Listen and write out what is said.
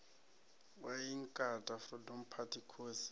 wa inkatha freedom party khosi